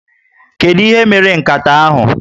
Kedu ihe mere nkata ahụ?